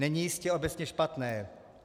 Není jistě obecně špatné.